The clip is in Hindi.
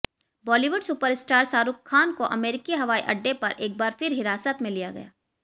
बॉलीवुड सुपरस्टार शाहरुख खान को अमेरिकी हवाईअड्डे पर एक बार फिर हिरासत में लिया गया